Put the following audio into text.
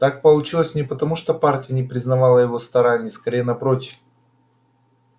так получилось не потому что партия не признавала его стараний скорее напротив